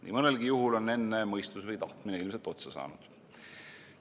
Nii mõnelgi juhul on enne mõistus või tahtmine ilmselt otsa saanud.